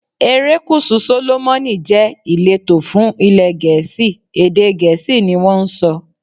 Erékùṣù Sólómọ́nì jẹ́ ìletò fún ilé Gẹ̀ẹ́sì, èdè Gẹ̀ẹ́sì ni wón ń sọ.